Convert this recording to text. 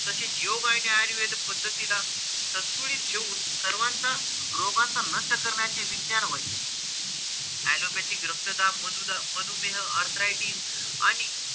तसेच योग आणि आयुर्वेद पद्धतीला संतुलित ठेवून सर्वांचा रोगांचा नष्ट करण्याचे विज्ञान होय. Allopathic रक्तदाब, मधुदाब, मधुमेह arthritis आणि,